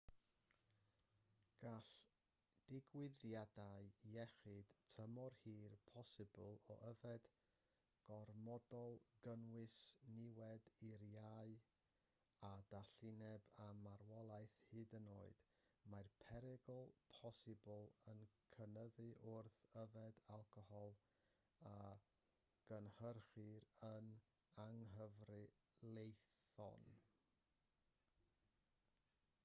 gall digwyddiadau iechyd tymor hir posibl o yfed gormodol gynnwys niwed i'r iau a dallineb a marwolaeth hyd yn oed mae'r perygl posibl yn cynyddu wrth yfed alcohol a gynhyrchir yn anghyfreithlon